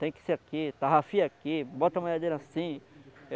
Tem que ser aqui, tarrafia aqui, bota a malhadeira assim.